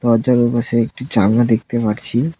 দরজার ওপাশে একটি জালনা দেখতে পারছি।